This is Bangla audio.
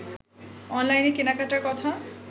অনলাইনে কেনাকাটার কথা